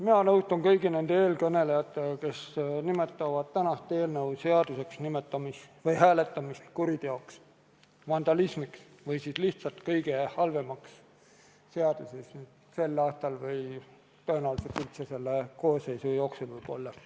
Mina nõustun kõigi nende eelkõnelejatega, kes nimetavad tänast eelnõu seaduseks hääletamist kuriteoks, vandalismiks või lihtsalt kõige halvemaks seaduseks sel aastal või tõenäoliselt üldse selle koosseisu jooksul.